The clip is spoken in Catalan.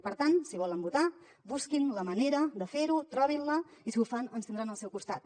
per tant si volen votar busquin la manera de fer ho trobin la i si ho fan ens tindran al seu costat